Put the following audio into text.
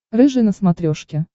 рыжий на смотрешке